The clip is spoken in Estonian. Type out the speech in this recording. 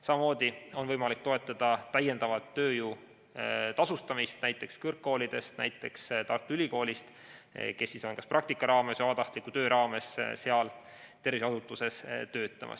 Samamoodi on võimalik toetada täiendava tööjõu tasustamist,, kes on tulnud näiteks kõrgkoolidest, näiteks Tartu Ülikoolist, kes kas praktika või vabatahtliku töö raames tervishoiuasutuses töötavad.